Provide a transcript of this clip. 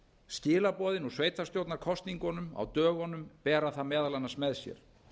skilaboðin úr sveitarstjórnarkosningunum á dögunum bera það meðal annars með sér